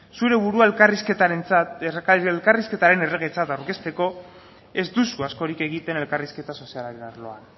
zure burua elkarrizketaren erregetzat aurkezteko ez duzu askorik egiten elkarrizketa sozialaren arloan